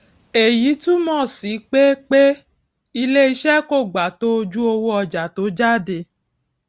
èyí túmò sí pé pé iléiṣé kò gba tó ojú owó ọjà tó jáde